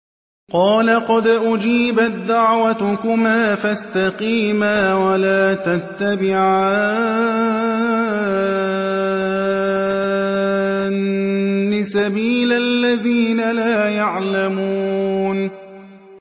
قَالَ قَدْ أُجِيبَت دَّعْوَتُكُمَا فَاسْتَقِيمَا وَلَا تَتَّبِعَانِّ سَبِيلَ الَّذِينَ لَا يَعْلَمُونَ